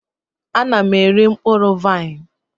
Ana m eri mkpụrụ vaịn.